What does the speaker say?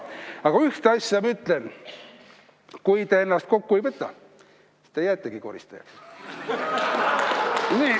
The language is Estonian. Aga ühte asja ma ütlen: kui te ennast kokku ei võta, siis te jäätegi koristajaks.